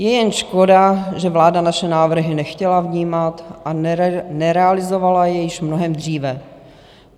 Je jen škoda, že vláda naše návrhy nechtěla vnímat, a nerealizovala je již mnohem dříve.